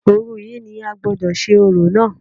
Òru yìí ni a gbọ́dọ̀ ṣe orò náà